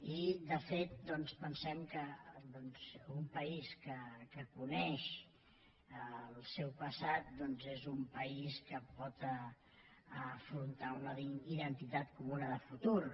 i de fet doncs pensem que un país que coneix el seu passat és un país que pot afrontar una identitat comuna de futur